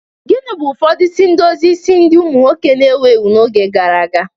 Gịnị bụ ụfọdụ isi edozi isi ndị nwoke na-ewu ewu n'oge gara aga?